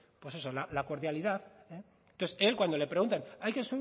pues eso la cordialidad entonces él cuando le preguntan